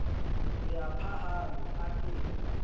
re a phahame a ke